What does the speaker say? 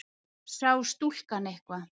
Sá stúlkan eitthvað?